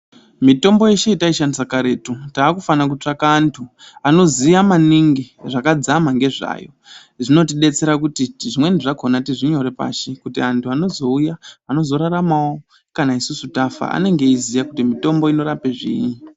Mitombo yechiantu yataishandisa karetu takufana kutsvaga antu anoziya maningi zvakadzama nezvayo zvinotidetsera kuti zvimweni zvakona tizvinyore pashi kuti anhu anozouya anozoraramawo kana tafa anenge achiziva kuti mutombo unorapa zviri.